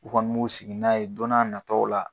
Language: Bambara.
U kɔni m'u sigi n'a ye dɔn n'a nataw la